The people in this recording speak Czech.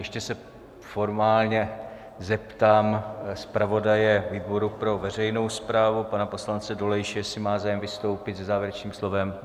Ještě se formálně zeptám zpravodaje výboru pro veřejnou správu pana poslance Dolejše, jestli má zájem vystoupit se závěrečným slovem?